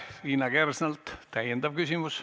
Liina Kersnalt täiendav küsimus.